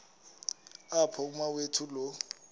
apho umawethu lo